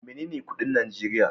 Menene kudin Najeriya?